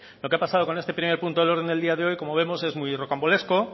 lo que ha pasado con este primer punto del orden del día de hoy como vemos es muy rocambolesco